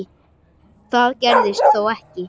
Það gerðist þó ekki.